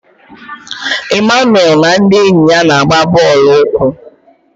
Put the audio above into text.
Emmanuel na ndị enyi ya na-agba bọọlụ ụkwụ.